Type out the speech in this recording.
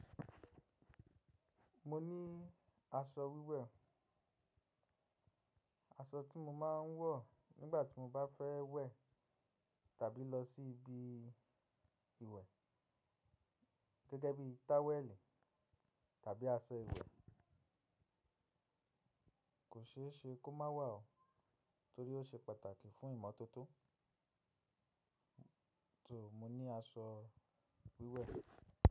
Mo ní aṣọ wíwẹ̀, aṣọ tí mo máa ń wọ̀ nígbà tí mo bá fẹ́ wẹ̀ tàbí lọ sí ibi ìwẹ̀ gẹ́gẹ́ bí towelì tàbí aṣọ ìwẹ̀. Kò ṣe é ṣe kó má wà ọ́ torí ó ṣe pàtàkì fún ìmọ́tótó. So, mo ní aṣọ wíwẹ̀.